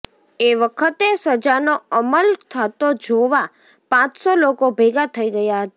એ વખતે સજાનો અમલ થતો જોવા પાંચસો લોકો ભેગા થઈ ગયા હતા